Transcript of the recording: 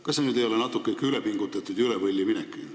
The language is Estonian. Kas see ei ole natuke ülepingutatud, üle võlli minek?